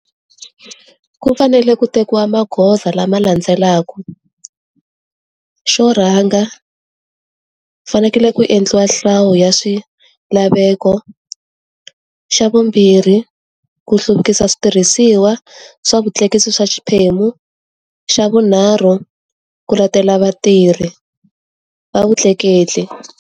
Ku fanele ku tekiwa magoza lama landzelaka. Xo rhanga, fanekele ku endliwa hlawu ya swilaveko. Xa vumbirhi, ku hluvukisa switirhisiwa swa vutleketli swa xiphemu, xa vunharhu, ku letela vatirhi, va vutleketli.